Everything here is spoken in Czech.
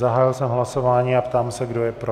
Zahájil jsem hlasování a ptám se, kdo je pro.